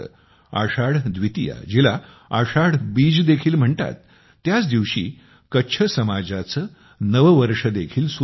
आषाढ द्वितीया जिला आषाढ बीज देखील म्हणतात त्याच दिवशी कच्छ समाजाचे नववर्ष देखील सुरु होते